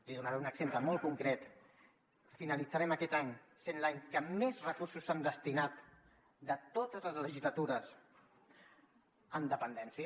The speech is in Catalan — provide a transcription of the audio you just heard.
li donaré un exemple molt concret finalitzarem aquest any sent l’any que més recursos s’han destinat de totes les legislatures a dependència